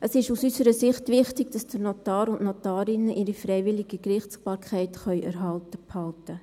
Es ist aus unserer Sicht wichtig, dass der Notar und die Notarin ihre freiwillige Gerichtsbarkeit erhalten können.